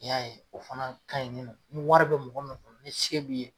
I y'a ye o fana ka ɲi nin nɔ ni wari be mɔgɔ min kun ni se b'i ye